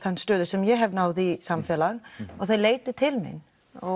stöðu sem ég hef náð í samfélaginu og þær leita til mín